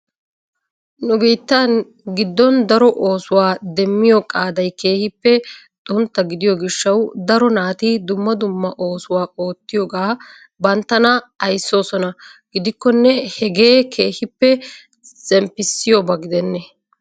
Nu biittan giddon daro oosuwaa demmiyo qaaday keehippe xuntta gidiyo gishhshaw daro naati dumma dumma ooauwaa oottiyooga banttana ayssoosona gidikkone hagee keehippe zemppissiyooba gidene?